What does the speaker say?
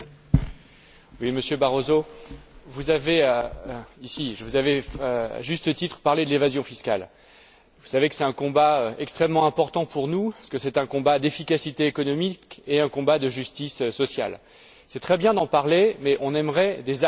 Monsieur le Président, Monsieur Barroso, vous avez, à juste titre, parlé de l'évasion fiscale. Vous savez que c'est un combat extrêmement important pour nous, parce que c'est un combat d'efficacité économique et de justice sociale. C'est très bien d'en parler, mais on aimerait des actes.